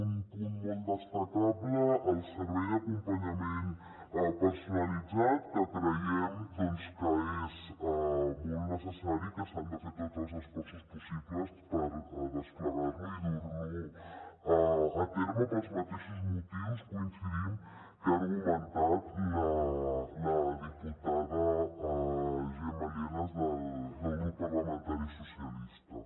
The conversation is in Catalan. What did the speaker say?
un punt molt destacable el servei d’acompanyament personalitzat que creiem doncs que és molt necessari i que s’han de fer tots els esforços possibles per desplegar lo i dur lo a terme pels mateixos motius hi coincidim que ha argumentat la diputada gemma lienas del grup parlamentari socialistes